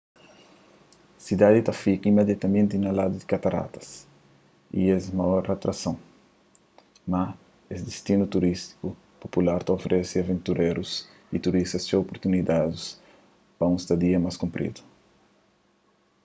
sidadi ta fika imidiatamenti na ladu di kataratas y es é maoir atrason mas es distinu turístiku popular ta oferese aventurérus y turistas txeu opurtunidadis pa un stadia más kunpridu